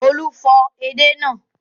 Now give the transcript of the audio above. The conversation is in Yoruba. Olú fọ edé náà.